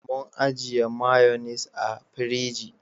Mun ajiye mayonis a firiji